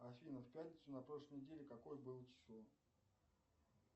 афина в пятницу на прошлой неделе какое было число